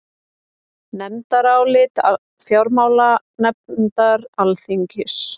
Nefndarálit fjárlaganefndar Alþingis